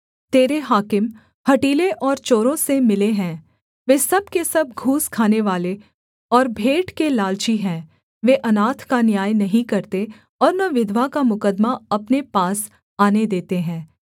तेरे हाकिम हठीले और चोरों से मिले हैं वे सब के सब घूस खानेवाले और भेंट के लालची हैं वे अनाथ का न्याय नहीं करते और न विधवा का मुकद्दमा अपने पास आने देते हैं